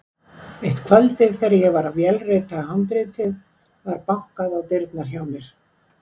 Eitt kvöldið þegar ég var að vélrita handritið var bankað á dyrnar hjá mér.